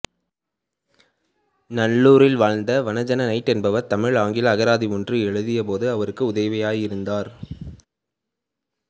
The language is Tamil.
நல்லூரில் வாழ்ந்த வண ஜெ நைட் என்பவர் தமிழ்ஆங்கில அகராதி ஒன்று எழுதிய போது அவருக்கு உதவியிருந்தார்